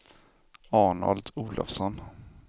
Arnold Olovsson